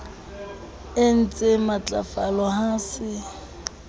e ntsee matlafala ha se